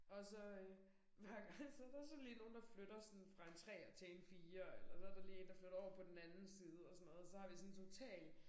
Og så øh hver gang så der sådan lige nogen der flytter sådan fra en treer til en firer eller så der lige én der flytter over på den anden side og sådan noget. Så har vi sådan total